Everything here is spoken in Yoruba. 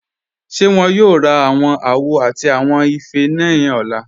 Ṣé wọn yóò rá awọn àwò àti awọn ifẹ́ ni ọ̀lá?